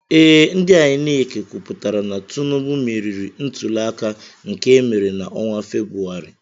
Ee, ndị INEC kwụpụtara na Tinubu meriri ntuli aka nke emere na-ọnwa Febrụwarị.